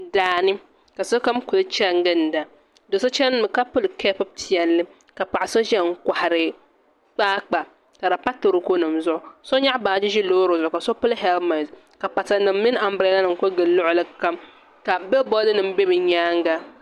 Daani ka sokam ku chɛni ginda do so chɛnimi ka pili keep piɛlli ka paɣa so ʒiya n kohari kpaakpa ka di pa toroko nim zuɣu so nyaɣa baaji ʒi Loori zuɣu ka so pili hɛlmɛnt ka pata nim mini anbirɛla nim ku gili luɣuli kam ka bɛ bolli nim bɛ bi nyaanga